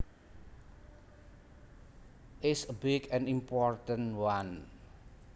is a big and important one